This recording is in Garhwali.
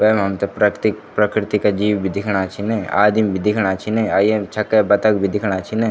वैमा हमथे प्रैतयिक प्रकृति का जीव भी दिखणा छिन आदिम भी दिखणा छिन अ ये छक्के बतख भी दिखणा छिन।